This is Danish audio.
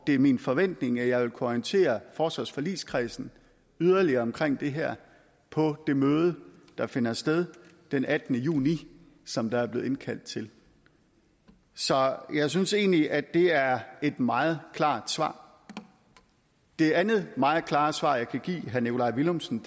det er min forventning at jeg vil kunne orientere forsvarsforligskredsen yderligere omkring det her på det møde der finder sted den attende juni som der er blevet indkaldt til så jeg synes egentlig at det er et meget klart svar det andet meget klare svar jeg kan give herre nikolaj villumsen